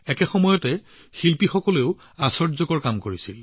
একে সময়তে লাম্বানী শিপিনীসকলেও আচৰিত কাম কৰিছিল